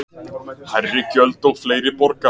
Hærri gjöld og fleiri borga